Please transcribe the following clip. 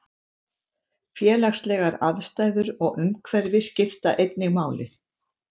Félagslegar aðstæður og umhverfi skipta einnig máli.